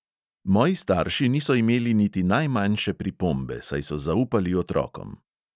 Moji starši niso imeli niti najmanjše pripombe, saj so zaupali otrokom.